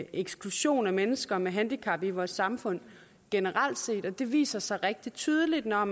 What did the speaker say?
eksklusion af mennesker med handicap i vores samfund generelt set det viser sig rigtig tydeligt når